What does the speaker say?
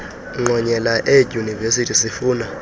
ngqonyela eedyunivesithi sifuna